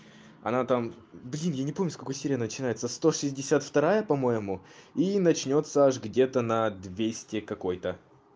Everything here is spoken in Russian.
она там блин я не помню с какой серии начинается сто шестьдесят вторая по-моему и начнётся аж где-то на двести какой-то